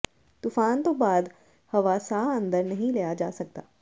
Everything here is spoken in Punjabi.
ਤੂਫ਼ਾਨ ਤੋਂ ਬਾਅਦ ਹਵਾ ਸਾਹ ਅੰਦਰ ਨਹੀਂ ਲਿਆ ਜਾ ਸਕਦਾ